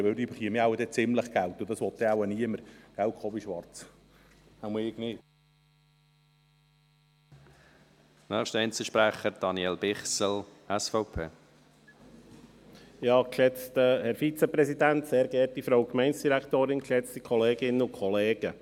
Denn diese werden wohl ziemlich viel Geld verdienen, und das will dann wohl niemand – nicht wahr, Jakob Schwarz? –, jedenfalls ich nicht.